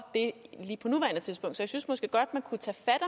det lige på nuværende tidspunkt så jeg synes måske godt man kunne tage fat